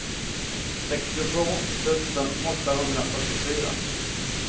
sextiotvå tusen åttahundrafyrtiofyra